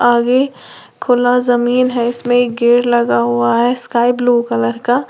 आगे खुला जमीन है इसमें गेट लगा हुआ है स्काई ब्लू का।